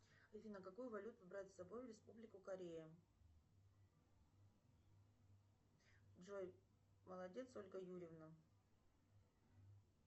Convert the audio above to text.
афина какую валюту брать с собой в республику корея джой молодец ольга юрьевна